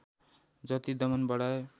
जति दमन बढाए